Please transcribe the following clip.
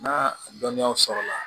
N'a dɔnniyaw sɔrɔ la